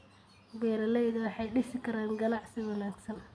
Beeralayda waxay dhisi karaan ganacsi wanaagsan.